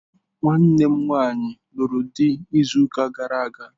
Nwanne m nwanyi luru di izu uka gara aga..